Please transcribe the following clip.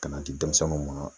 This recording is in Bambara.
Ka na di denmisɛnninw ma.